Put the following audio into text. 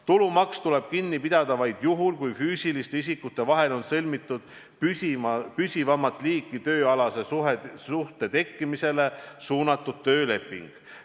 Tulumaks tuleb kinni pidada vaid juhul, kui füüsiliste isikute vahel on sõlmitud püsivamat liiki tööalase suhte tekkimisele suunatud tööleping.